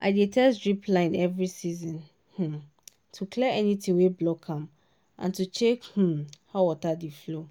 i dey test drip line every um season to clear anything wey block am and to check um how water dey flow.